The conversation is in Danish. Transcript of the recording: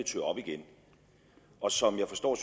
og som jeg forstår